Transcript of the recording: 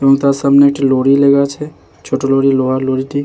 এবং তার সামনে একটি লড়ি লাগা আছে। ছোট লড়ি লোহার লরিটি ।